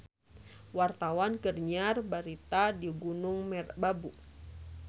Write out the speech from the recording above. Wartawan keur nyiar berita di Gunung Merbabu